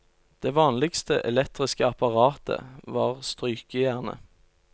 Det vanligste elektriske apparatet var strykejernet.